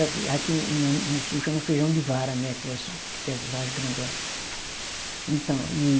Aqui no no sul chama feijão de vara, né, aquelas, aquelas vara grandona. Então e